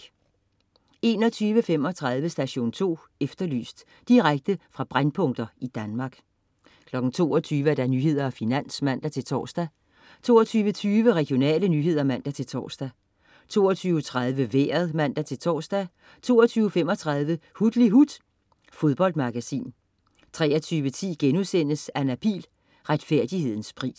21.35 Station 2 Efterlyst. Direkte fra brændpunkter i Danmark 22.00 Nyhederne og Finans (man-tors) 22.20 Regionale nyheder (man-tors) 22.30 Vejret (man-tors) 22.35 Hutlihut. . Fodboldmagasin 23.10 Anna Pihl. Retfærdighedens pris*